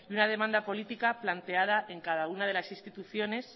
y una demanda política planteada en cada una de las instituciones